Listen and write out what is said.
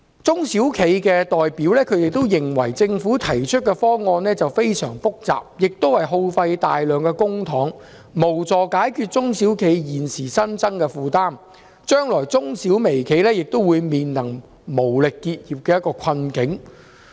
中小企代表認為，政府提出的方案非常複雜，會耗費大量公帑，卻無助解決中小企現時新增的負擔，將來中小微企也會面臨因無力應付而結業的困境。